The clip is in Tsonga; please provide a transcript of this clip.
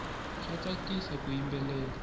swa tsakisa ku yimbelela